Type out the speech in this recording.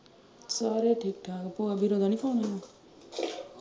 ਸਾਰੇ ਠੀਕ ਠਾਕ ਫ਼ੋਨ ਆਇਆ